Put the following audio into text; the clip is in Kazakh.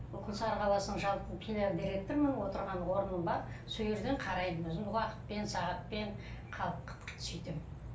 күлсары қаласының жалпы филиал директорымын отырған орным бар сол жерден қараймын өзім уақытпен сағатпен сөйтем